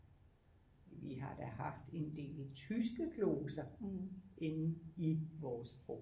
Vi har da haft en del tyske gloser inde i vores sprog